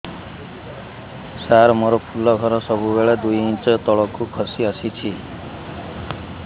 ସାର ମୋର ଫୁଲ ଘର ସବୁ ବେଳେ ଦୁଇ ଇଞ୍ଚ ତଳକୁ ଖସି ଆସିଛି